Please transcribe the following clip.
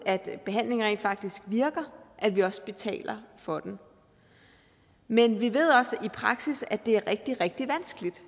behandlingen rent faktisk virker at vi også betaler for den men vi ved også i praksis at det er rigtig rigtig vanskeligt